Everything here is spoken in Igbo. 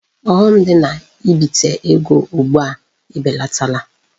Ọghọm dị na ibite ego ugbua ebelatala.